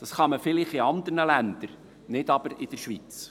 Vielleicht kann man dies in anderen Ländern tun, aber nicht in der Schweiz.